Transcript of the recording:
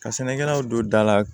Ka sɛnɛkɛlaw don da la